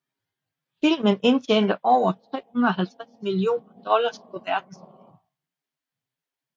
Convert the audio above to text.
Filmen indtjente over 350 millioner dollars på verdensplan